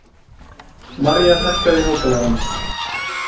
Marja, hækkaðu í hátalaranum.